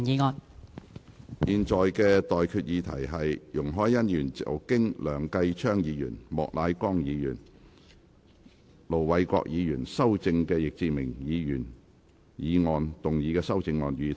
我現在向各位提出的待議議題是：容海恩議員就經梁繼昌議員、莫乃光議員及盧偉國議員修正的易志明議員議案動議的修正案，予以通過。